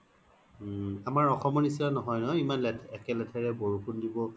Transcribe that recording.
ওম আমাৰ অসমৰ নিচিনা নহয় অ ইমান একে লেথাৰে বৰষুণ দিব